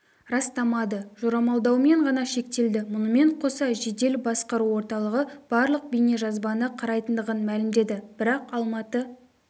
растамады жорамалдаумен ғана шектелді мұнымен қоса жедел басқару орталығы барлық бейнежазбаны қарайтындығын мәлімдеді бірақ алматы